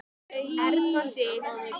Erna Sif.